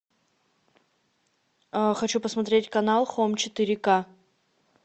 хочу посмотреть канал хоум четыре к